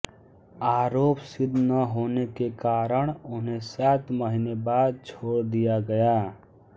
आरोप सिद्ध न होने के कारण उन्हें सात महीने बाद छोड़ दिया गया